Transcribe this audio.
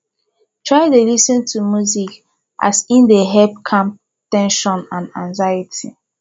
try dey lis ten to music as e dey help calm ten sion and anxiety